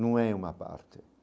Não é uma parte.